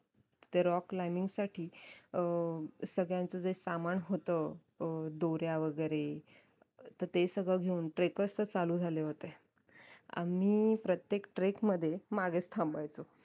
ते rock climbing साठी अं सगळ्यांचं जे सामान होत अं दोऱ्या वैगेरे तर ते सगळं घेऊन trackers तर चालू झाले होते आम्ही प्रत्येक trek मध्ये मागेच थांबायचो